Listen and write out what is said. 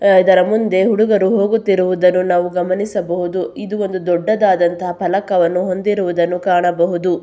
ಅಹ್ ಇದರ ಮುಂದೆ ಹುಡುಗರು ಹೋಗುತ್ತಿರುವುದನ್ನು ನಾವು ಗಮನಿಸಬಹುದು ಇದು ಒಂದು ದೊಡ್ಡದಾದಂತಹ ಫಲಕವನ್ನು ಹೊಂದಿರುವುದನ್ನು ಕಾಣಬಹುದು.